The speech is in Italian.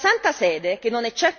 È una questione di civiltà.